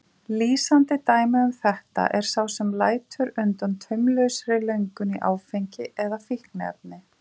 Lýsandi dæmi um þetta er sá sem lætur undan taumlausri löngun í áfengi eða fíkniefni.